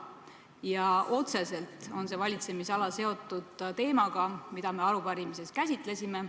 Ja tema valitsemisala on otseselt seotud teemaga, mida me arupärimises käsitlesime.